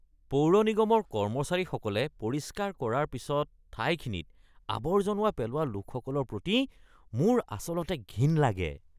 পৌৰনিগমৰ কৰ্মচাৰীসকলে পৰিষ্কাৰ কৰাৰ পিছত ঠাইখিনিত আৱৰ্জনা পেলোৱা লোকসকলৰ প্ৰতি মোৰ আচলতে ঘিণ লাগে।